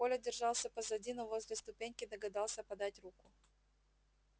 коля держался позади но возле ступеньки догадался подать руку